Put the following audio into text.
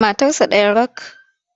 Matarsa ɗaya rak.